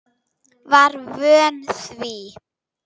Var vön því.